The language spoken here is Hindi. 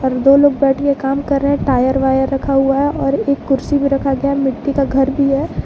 दो लोग बैठ के काम कर रहे हैं टायर वायर रखा हुआ है और एक कुर्सी में रखा गया मिट्टी का घर भी है।